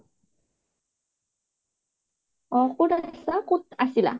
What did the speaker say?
অ' কত আছিলা ক'ত আছিলা?